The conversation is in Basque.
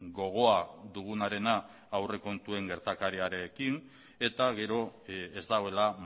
gogoa dugunarena aurrekontuen gertakariarekin eta gero ez dagoela